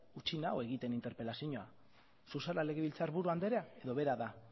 utzi nau egiten interpelazioa zu zara legebiltzarburu andrea edo bera da